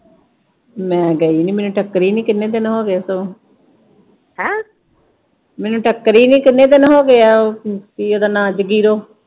ਮੈਂ ਗਈ ਨੀ, ਮੈਨੂੰ ਟੱਕਰੀ ਨੀ ਕਿੰਨੇ ਦਿਨ ਹੋਗੇ ਸਗੋ। ਮੈਨੂੰ ਟੱਕਰੀ ਨੀ ਕਿੰਨੇ ਦਿਨ ਹੋਗੇ ਆ ਉਹ ਕੀ ਉਹਦਾ ਨਾਂ, ਜਗੀਰੋ।